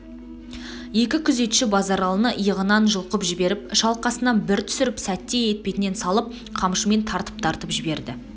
екі күзетші базаралыны иығынан жұлқып жіберіп шалқасынан бір түсіріп сәтте етпетнен салып қамшымен тартып-тартып жіберді